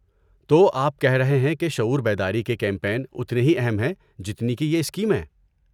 تو آپ کہہ رہے ہیں کہ شعور بیداری کے کیمپین اتنے ہی اہم ہیں جتنی کہ یہ اسکیمیں۔